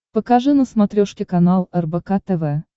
покажи на смотрешке канал рбк тв